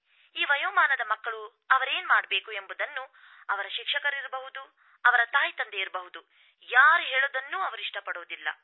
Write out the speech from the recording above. ಈ ವಯೋಮಾನದ ಮಕ್ಕಳು ಅವರೇನು ಮಾಡಬೇಕುಎಂಬುದನ್ನು ಅವರ ಶಿಕ್ಷಕರು ಇರಬಹ್ದು ಅವರ ತಾಯಿತಂದೆ ಇರಬಹ್ದು ಯಾರ್ಹೇಳೋದನ್ನೂ ಅವರು ಇಷ್ಟಪಡೋದಿಲ್ಲ